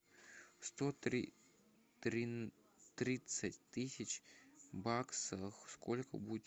сто тридцать тысяч баксов сколько будет